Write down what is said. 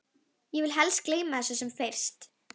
Ég vil helst gleyma þessu sem fyrst.